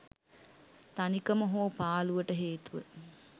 තනිකම හෝ පාළුවට හේතුව